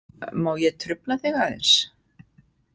Má ég trufla þig aðeins?